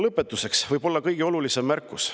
Lõpetuseks võib-olla kõige olulisem märkus.